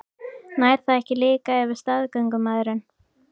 Nær það ekki líka yfir staðgöngumæðrun?